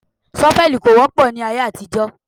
Ṣọ́fẹ̀lì kò wọ́pọ̀ ní ayé àtijọ́